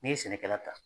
N'i ye sɛnɛkɛla ta